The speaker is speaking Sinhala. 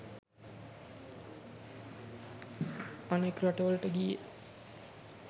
අනෙක් රටවලට ගියේ